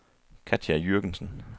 Katja Jürgensen